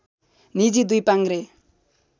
निजी दुई पाङ्ग्रे